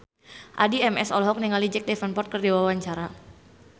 Addie MS olohok ningali Jack Davenport keur diwawancara